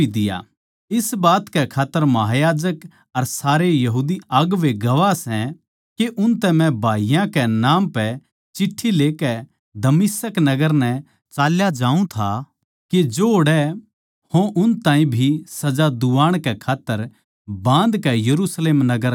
इस बात कै खात्तर महायाजक अर सारे यहूदी अगुवें गवाह सै के उनतै मै भाईयाँ कै नाम पै चिट्ठियाँ लेकै दमिश्क नगर नै चल्या जावै था के जो ओड़ै हों उन ताहीं भी सजा दुवाण कै खात्तर बाँधकै यरुशलेम नगर लाऊँ